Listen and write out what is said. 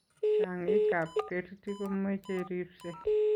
Chong'ik kap kerti kumechei ripse.